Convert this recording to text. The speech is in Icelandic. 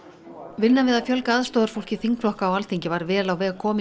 vinna við að fjölga aðstoðarfólki þingflokka á Alþingi var vel á veg komin